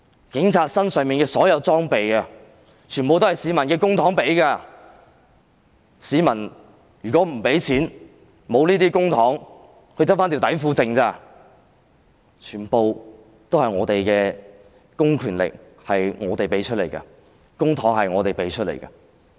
警察身上的所有裝備全部都是用從市民得來的公帑支付的，市民如果不給錢，沒有這些公帑，他們剩下的只是內褲而已；他們的公權力全部都是我們賦予的，公帑是我們付出的。